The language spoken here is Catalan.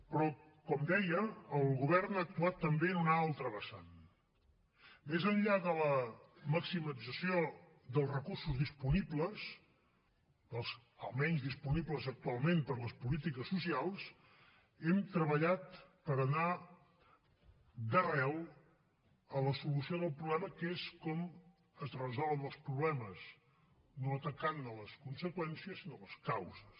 però com deia el govern ha actuat també en una altra vessant més enllà de la maximització dels recursos disponibles dels almenys disponibles actualment per a les polítiques socials hem treballat per anar d’arrel a la solució del problema que és com es resolen els problemes no atacant ne les conseqüències sinó les causes